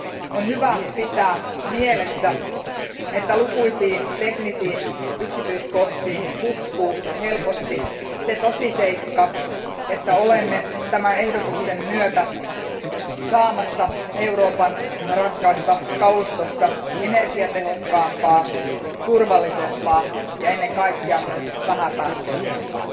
On hyvä pitää mielessä, että lukuisiin teknisiin yksityiskohtiin hukkuu helposti se tosiseikka, että olemme tämän ehdotuksen myötä saamassa Euroopan raskaasta kalustosta energiatehokkaampaa, turvallisempaa ja ennen kaikkea myös vähäpäästöisempää.